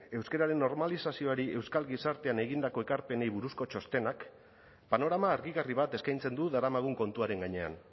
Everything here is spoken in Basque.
euskararen normalizazioari euskal gizartean egindako ekarpenei buruzko txostenak panorama argigarri bat eskaintzen du daramagun kontuaren gainean